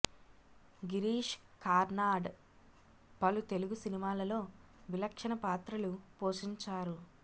గిరీష్ కర్నాడ్ పలు తెలుగు సినిమాలలో విలక్షణ పాత్రలు పోషించారు